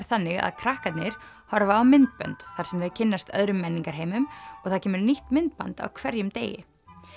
þannig að krakkarnir horfa á myndbönd þar sem þau kynnast öðrum menningarheimum og það kemur nýtt myndband á hverjum degi